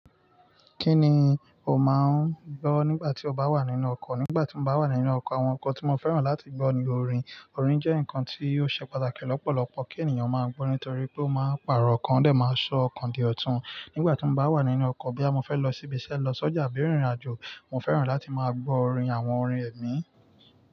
Kí ni o máa ń gbọ́ nígbà tí o bá wà nínú ọkọ̀? Nígbà tí mo bá wà nínú ọkọ̀, àwọn nnkan tí mo fẹ́ràn láti gbọ́ ni orin. Orin jẹ́ nǹkan tí ó ṣe pàtàkì lọ́pọ̀lọpọ̀ kí ènìyàn máa gbọ́ nítorí pé ó máa ń pààrọ̀ ọkàn, ó máa ń ṣọ́ ọkàn di ọ̀tún. Nígbà tí mo bá wà nínú ọkọ̀, bóyá mo fé lọ síbi iṣẹ́, lọ sọ́jà, àbí rín ìrìn àjò, mo fẹ́ràn láti máa gbọ orin àwọn orin ẹ̀mí.